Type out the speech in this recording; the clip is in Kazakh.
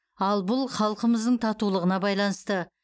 ал бұл халқымыздың татулығына байланысты